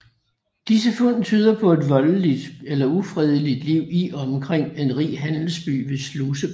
Disse fund tyder på et voldeligt eller ufredeligt liv i og omkring en rig handelsby ved Slusegård